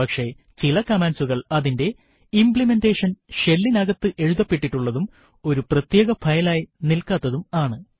പക്ഷെ ചില കമാൻഡ്സുകൾ അതിന്റെ ഇംപ്ലിമെൻറെഷൻ shell നകത്ത് എഴുതപ്പെട്ടിട്ടുള്ളതും ഒരു പ്രത്യേക ഫയൽ ആയി നിൽകാത്തതും ആണ്